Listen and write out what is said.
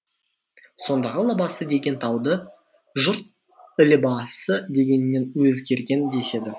сондағы лабасы деген тауды жұрт ілебасы дегеннен өзгерген деседі